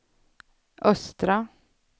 östra